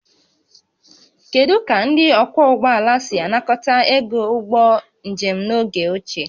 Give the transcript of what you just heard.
Kedu ka ndị ọkwọ ụgbọala si anakọta ego ụgbọ njem n'oge ochie?